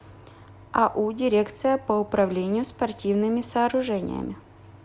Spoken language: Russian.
ау дирекция по управлению спортивными сооружениями